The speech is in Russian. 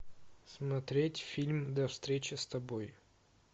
смотреть фильм до встречи с тобой